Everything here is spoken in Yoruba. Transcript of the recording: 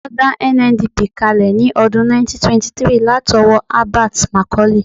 Wọ́n dá NNDP kalẹ̀ ní ọdún 1923 látọwọ́ Herbert Macaulay